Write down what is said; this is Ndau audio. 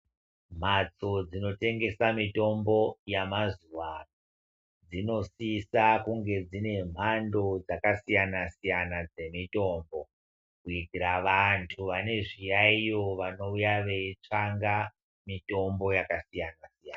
Mbatso dzinotengesa mitombo yamazuwa ano, dzinosisa kunge dzine mhando dzakasiyana-siyana dzemitombo, kuitira vantu vane zviyaiyo vanouya veitsvanga, mitombo yakasiyana-siyana.